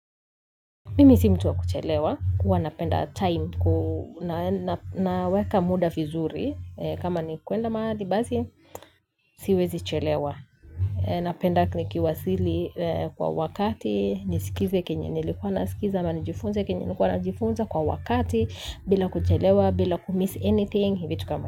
Mimi si mtu wa kuchelewa, huwa napenda time, naweka muda vizuri, kama ni kwenda mahali basi, siwezi chelewa. Napenda nikiwasili kwa wakati, nisikize kenye nilikuwa nasikiza, ama nijifunze kenye nilikuwa najifunza kwa wakati, bila kuchelewa, bila kumiss anything, vitu kama.